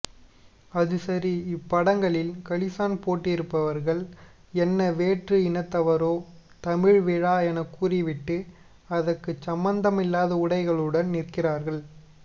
அது சரி இப்படங்களில் களிசான் போட்டிருப்பவர்கள் என்ன வேற்று இனத்தவரோ தமிழ் விழா எனக்கூறிவிட்டு அதுக்குச் சம்பந்தமில்லாத உடைகளுடன் நிற்கிறார்கள்